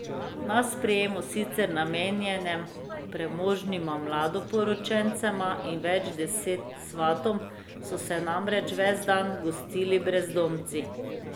Na sprejemu, sicer namenjenem premožnima mladoporočencema in več deset svatom, so se namreč ves dan gostili brezdomci.